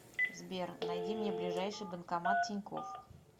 сбер найди мне ближайший банкомат тинькофф